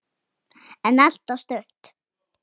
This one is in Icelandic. Geymt en ekki gleymt